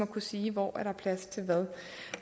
kunne sige hvor der er plads til hvad